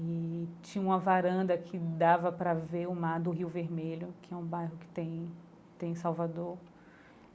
E tinha uma varanda que dava pra ver o mar do Rio Vermelho, que é um bairro que tem tem em Salvador.